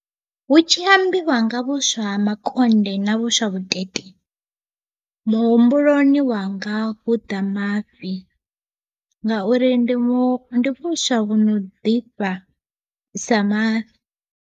Hu tshi ambiwa nga vhuswa ha makonde na vhuswa vhutete muhumbuloni wanga hu ḓa mafhi ngauri ndi mu ndi vhuswa vhuno ḓifha sa mafhi.